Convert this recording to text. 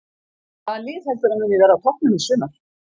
Hvaða lið heldurðu að muni verða á toppnum í sumar?